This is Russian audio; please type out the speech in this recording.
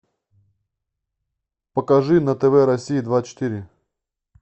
покажи на тв россия двадцать четыре